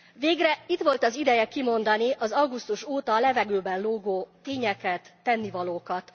Végre itt volt az ideje kimondani az augusztus óta a levegőben lógó tényeket, tennivalókat.